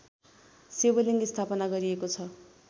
शिवलिङ्ग स्थापना गरिएको छ